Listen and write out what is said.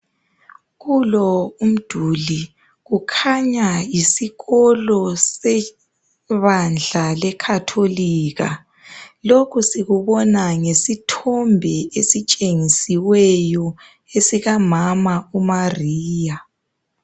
Kulo umduli kukhanya yisikolo sebandla leKhatholika .Lokho sikubona ngesithombe esitshengisiweyo esika mama uMaria